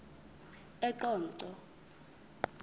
eqonco